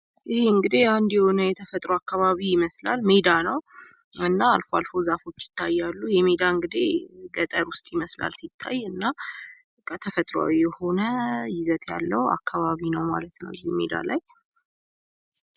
ይህ እንግዲህ አንድ የሆነ የተፈጥሮ አካባቢ ይመስላል። ሜዳ ነው። እና አልፎ አልፎ የዛፎች ይታያሉ። ይህ ሜዳ እንግዲህ ገጠር ውስጥ ይመስላል ሲታይ እና ተፈጥሮ የሆነ ይዘት ያለው አካባቢ ነው ማለት ነው። ይህ ሜዳ ላይ...